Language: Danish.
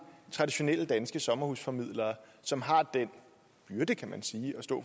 traditionelle danske sommerhusformidlere som har den byrde kan man sige